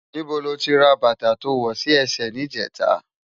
Nibó ló ti rá bata tó wò si èsè nijètá?